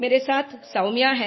मेरे साथ सौम्या है